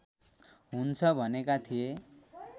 हुन्छ भनेका थिए